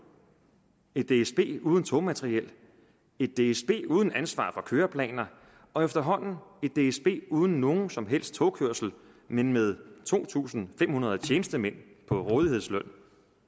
et dsb uden togmateriel et dsb uden ansvar for køreplaner og efterhånden et dsb uden nogen som helst togkørsel men med to tusind fem hundrede tjenestemænd på rådighedsløn